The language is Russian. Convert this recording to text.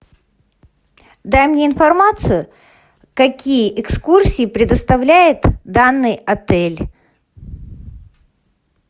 дай мне информацию какие экскурсии предоставляет данный отель